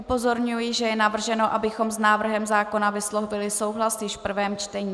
Upozorňuji, že je navrženo, abychom s návrhem zákona vyslovili souhlas již v prvém čtení.